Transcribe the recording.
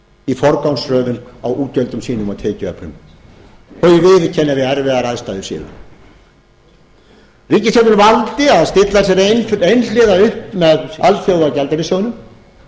í forgangsröðun á útgjöldum sínum og tekjuöflun þau viðurkenna að við erfiðar aðstæður séu ríkisstjórnin valdi að stilla sér einhliða upp með alþjóðagjaldeyrissjóðnum